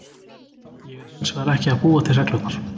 Ég er hins vegar ekki að búa til reglurnar.